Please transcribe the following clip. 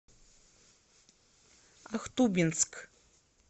ахтубинск